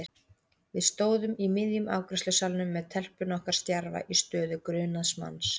Við stóðum í miðjum afgreiðslusalnum með telpuna okkar stjarfa í stöðu grunaðs manns.